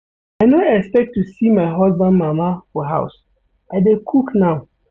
I no expect to see my husband mama for house, I dey cook now.